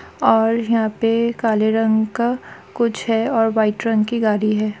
और यहाँ पे काले रंग का कुछ है और व्हाइट रंग की गाड़ी हैं।